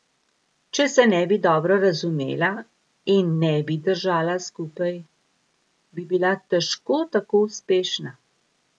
Če se ne bi dobro razumela in ne bi držala skupaj, bi bila težko tako uspešna.